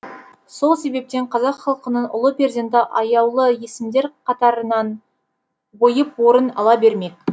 сол себептен қазақ халқының ұлы перзенті аяулы есімдер қатарынан ойып орын ала бермек